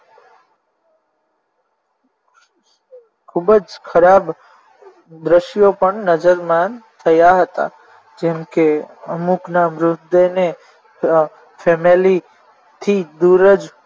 ખૂબ જ ખરાબ દ્રશ્યો પણ નજર માન થયા હતા જેમકે અમુકના મૃતદેહને family થી દુર જ